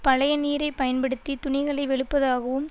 பழைய நீரைப் பயன்படுத்தி துணிகளை வெளுப்பதாகவும்